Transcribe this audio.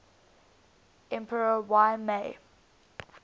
emperor y mei